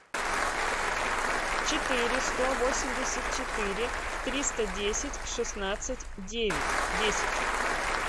четыре сто восемьдесят четыре триста десять шестнадцать девять десять